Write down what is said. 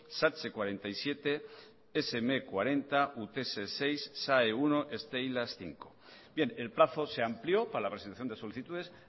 satse cuarenta y siete sme cuarenta utese seis sae uno y stee eilas bost bien el plazo se amplió para la resolución de solicitudes